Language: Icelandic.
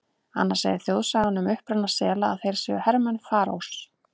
Annars segir þjóðsagan um uppruna sela að þeir séu hermenn Faraós.